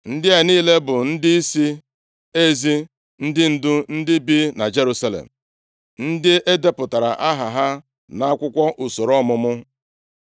Ndị a niile bụ ndịisi ezi, ndị ndu, ndị bi na Jerusalem, ndị e depụtara aha ha nʼakwụkwọ usoro ọmụmụ.